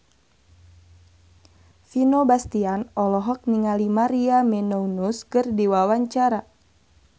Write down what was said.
Vino Bastian olohok ningali Maria Menounos keur diwawancara